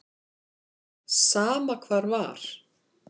Sama hvar var.